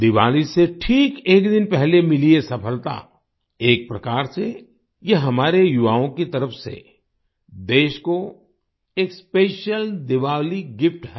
दीवाली से ठीक एक दिन पहले मिली ये सफलता एक प्रकार से ये हमारे युवाओं की तरफ से देश को एक स्पेशियल दीवाली गिफ्ट है